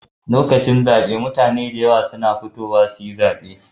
Lokacin zabe mutane su fitowa da yawa sun yi zabe